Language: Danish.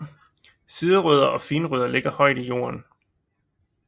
Siderødder og finrødder ligger højt i jorden